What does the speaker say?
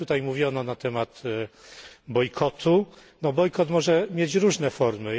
Wiele tutaj mówiono na temat bojkotu, bo bojkot może mieć różne formy.